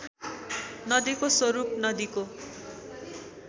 नदीको स्वरूप नदीको